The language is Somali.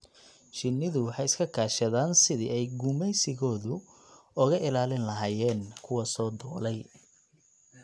Shinnidu waxay iska kaashadaan sidii ay gumaysigooda uga ilaalin lahaayeen kuwa soo duulay.